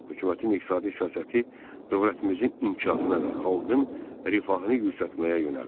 Hökumətin iqtisadi siyasəti dövlətimizin inkişafına və xalqın rifahını yüksəltməyə yönəlmişdi.